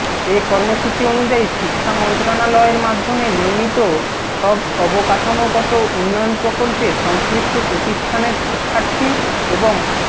এ কর্মসূচি অনুযায়ী শিক্ষা মন্ত্রণালয়ের মাধ্যমে নির্মিত সব অবকাঠামোগত উন্নয়ন প্রকল্পে সংশ্লিষ্ট প্রতিষ্ঠানের শিক্ষার্থী এবং